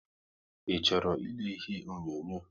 I chọrọ ị lele ihe onyonyo?